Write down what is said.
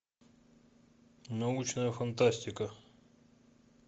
научная фантастика